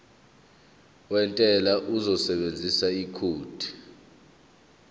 wentela uzosebenzisa ikhodi